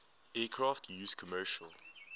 aircraft used commercial